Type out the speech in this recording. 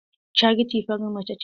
Charity farar mace ce.